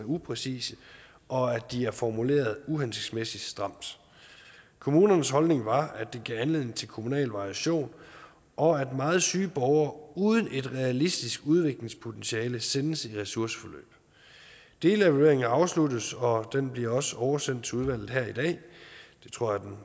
upræcise og at de er formuleret uhensigtsmæssigt stramt kommunernes holdning var at det gav anledning til kommunal variation og at meget syge borgere uden et realistisk udviklingspotentiale sendes i ressourceforløb delevalueringen er afsluttet og den bliver også oversendt til udvalget her i dag det tror